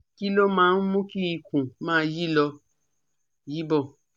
Kí ló máa ń mú kí ikùn máa yí lọ yí bọ̀?